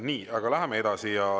Nii, läheme edasi.